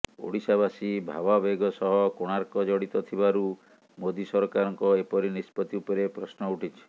ଓଡ଼ିଶାବାସୀ ଭାବାବେଗ ସହ କୋଣାର୍କ ଜଡିତ ଥିବାରୁ ମୋଦି ସରକାରଙ୍କ ଏପରି ନିଷ୍ପତି ଉପରେ ପ୍ରଶ୍ନ ଉଠିଛି